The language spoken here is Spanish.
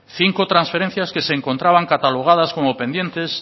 cinco transferencias que se encontraban catalogadas como pendientes